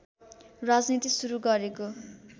राजनीति सुरु गरेको